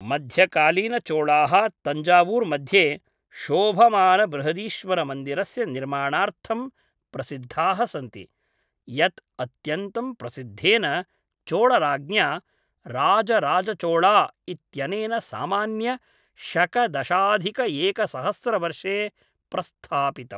मध्यकालीनचोळाः तञ्जावूर् मध्ये शोभमानबृहदीश्वरमन्दिरस्य निर्माणार्थं प्रसिद्धाः सन्ति, यत् अत्यन्तं प्रसिद्धेन चोळराज्ञा राजराजचोळा इत्यनेन सामान्य शक दशाधिकएकसहस्रवर्षे प्रस्थापितम्।